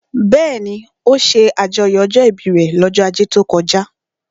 Bẹ́ẹ̀ni, ó ṣe àjọyọ̀ ọjọ́ ìbí rẹ̀ lọ́jọ́ ajé tó kọjá